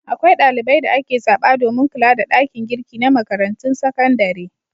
Akwai ɗalibai da ake zaɓa domin kula da ɗakin girki na makarantun sakandare.